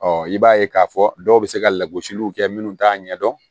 Ɔ i b'a ye k'a fɔ dɔw bɛ se ka lagosiliw kɛ minnu t'a ɲɛdɔn